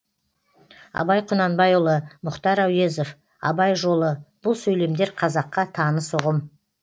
абай құнанбайұлы мұхтар әуезов абай жолы бұл сөйлемдер қазаққа таныс ұғым